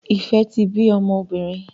Ife tí bí mọ obìrin.